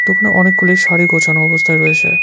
দোকানে অনেকগুলি শাড়ি গোছানো অবস্থায় রয়েছে।